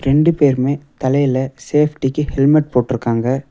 ரெண்டு பேருமே தலையில சேஃப்டிக்கு ஹெல்மெட் போட்ருக்காங்க.